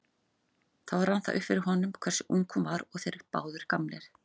Þá rann það upp fyrir honum hversu ung hún var og þeir báðir gamlir.